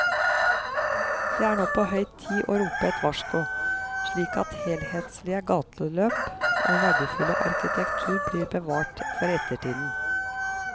Det er nå på høy tid å rope et varsko, slik at helhetlige gateløp og verdifull arkitektur blir bevart for ettertiden.